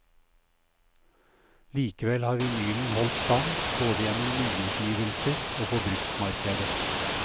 Likevel har vinylen holdt stand, både gjennom nyutgivelser og på bruktmarkedet.